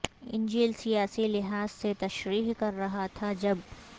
انجیل سیاسی لحاظ سے تشریح کر رہا تھا جب